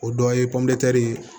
O dɔ ye ye